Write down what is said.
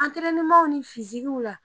Antɛrɛnenmaw ni fizigiw la